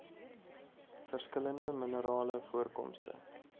verskillende minerale voorkomste